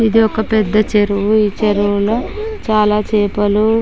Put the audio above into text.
ఇది ఒక పెద్ద చెరువు. ఈ చెరువులో చాలా చేపలూ--